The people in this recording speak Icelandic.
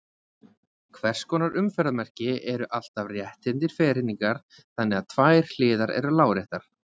Hvers konar umferðarmerki eru alltaf rétthyrndir ferhyrningar þannig að tvær hliðar eru láréttar?